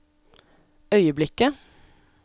øyeblikket